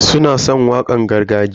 Suna san wakan gargajiya.